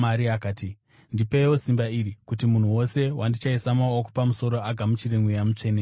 akati, “Ndipeiwo simba iri kuti munhu wose wandichaisa maoko pamusoro agamuchire Mweya Mutsvene.”